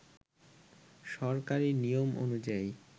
সরকারি নিয়ম অনুযায়ী